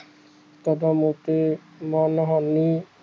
ਕਦਮ ਓਕੇ ਨਾਲ ਹਾਲਣੀ